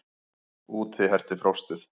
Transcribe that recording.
Úti herti frostið.